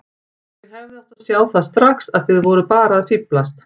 Ég hefði átt að sjá það strax að þið voruð bara að fíflast.